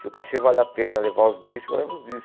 Se o cachê vale a pena levar os discos, eu levo os discos.